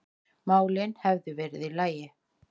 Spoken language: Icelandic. málin hefðu verið í lagi.